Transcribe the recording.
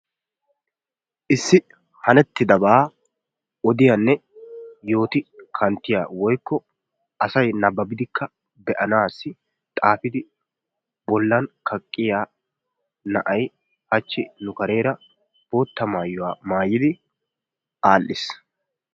Issi hanettidaba odiyane yooti kanttiya woykko asay nabbabidikka beanasi xaafidi bollan kaqiya na'aay hachchi nu karera bootta maayuwaa maayidi adhdhiis.